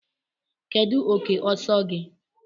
Kedu oke ọsọ gị?